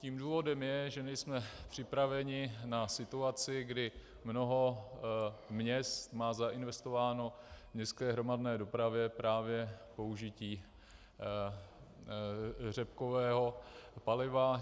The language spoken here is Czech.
Tím důvodem je, že nejsme připraveni na situaci, kdy mnoho měst má zainvestováno v městské hromadné dopravě právě použití řepkového paliva.